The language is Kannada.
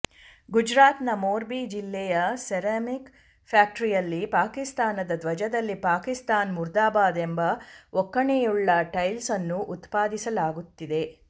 ಗುಜರಾತ್ ನ ಮೋರ್ಬಿ ಜಿಲ್ಲೆಯ ಸೆರಾಮಿಕ್ ಫ್ಯಾಕ್ಟರಿಯಲ್ಲಿ ಪಾಕಿಸ್ತಾನದ ಧ್ವಜದಲ್ಲಿ ಪಾಕಿಸ್ತಾನ್ ಮುರ್ದಾಬಾದ್ ಎಂಬ ಒಕ್ಕಣೆಯುಳ್ಳ ಟೈಲ್ಸ್ ಅನ್ನು ಉತ್ಪಾದಿಸಲಾಗುತ್ತಿದೆ